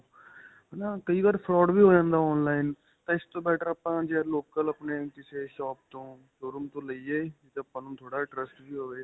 ਪਰ ਨਾਂ ਕਈ ਵਾਰ fraud ਵੀ ਹੋ ਜਾਂਦਾ online ਤਾਂ ਇਸ ਤੋਂ better ਆਪਾਂ ਜੇ local ਆਪਣੇਂ ਕਿਸੇ shop ਤੋਂ showroom ਤੋਂ ਲਈਏ ਤੇ ਆਪਾਂ ਨੂੰ ਥੋੜਾ ਜਾਂ trust ਵੀ ਹੋਵੇ.